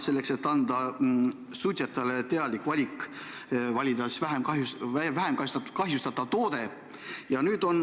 Suitsetajad ehk teeksid siis teadliku valiku osta vähem kahjustatav toode.